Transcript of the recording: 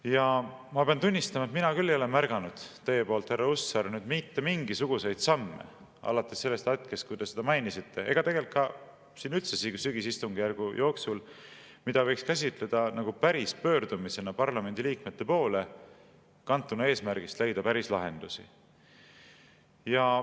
Ja ma pean tunnistama, et mina küll ei ole märganud teie poolt, härra Hussar, mitte mingisuguseid samme alates sellest hetkest, kui te seda mainisite, ega tegelikult üldse selle sügisistungjärgu jooksul, mida võiks käsitleda päris pöördumisena parlamendiliikmete poole, kantuna eesmärgist leida päris lahendust.